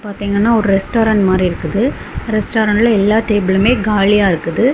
இங்க பாத்தீங்கன்னா ரெஸ்டாரன்ட் மாதிரி இருக்குது ரெஸ்டாரன்ட்ல எல்லா டேபிளும் காலியா இருக்குது.